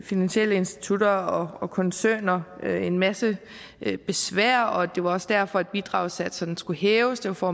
finansielle institutter og koncerner en masse besvær og det var også derfor at bidragssatserne skulle hæves det var for